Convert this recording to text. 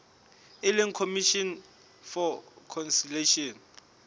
e leng commission for conciliation